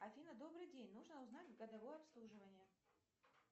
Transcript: афина добрый день нужно узнать годовое обслуживание